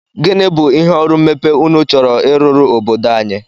Gịnị bụ ihe ọrụ mmepe unu chọrọ ịrụrụ obodo anyị?